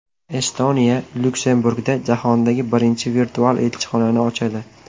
Estoniya Lyuksemburgda jahondagi birinchi virtual elchixonani ochadi.